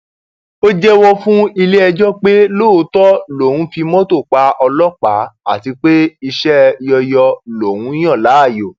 ó jẹwọ fún iléẹjọ pé lóòótọ lòún fi mọtò pa ọlọpàá àti pé iṣẹ yọyọ lòún yàn láàyò